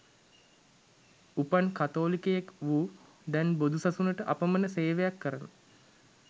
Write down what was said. උපන් කතෝලිකයෙක් වූ දැන් බොදුසසුනට අපමන සේවයක් කරන